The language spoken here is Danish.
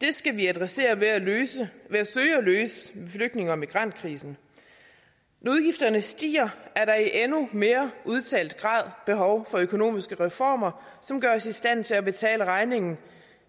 det skal vi adressere ved at søge at løse flygtninge og migrantkrisen når udgifterne stiger er der i endnu mere udtalt grad behov for økonomiske reformer som gør os i stand til at betale regningen